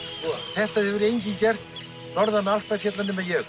þetta hefur enginn gert norðan Alpafjalla nema ég